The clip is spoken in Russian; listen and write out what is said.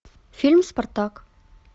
фильм спартак